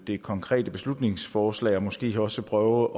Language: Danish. det konkrete beslutningsforslag og måske også prøve